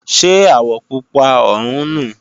Ṣé àwọ̀ Pupa ọ̀hún nu?